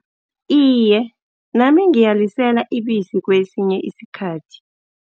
Iye, nami ngiyalisela ibisi kwesinye isikhathi.